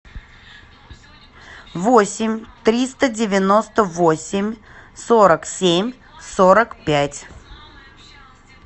восемь триста девяносто восемь сорок семь сорок пять